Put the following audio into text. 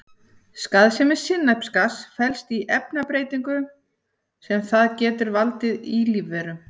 Skaðsemi sinnepsgass felst í efnabreytingum sem það getur valdið í lífverum.